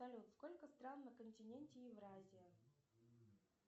салют сколько стран на континенте евразия